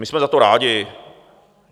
My jsme za to rádi.